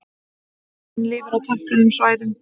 Hrafninn lifir á tempruðum svæðum.